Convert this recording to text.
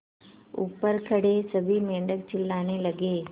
ऊपर खड़े सभी मेढक चिल्लाने लगे